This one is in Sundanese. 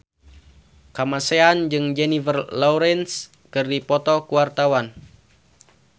Kamasean jeung Jennifer Lawrence keur dipoto ku wartawan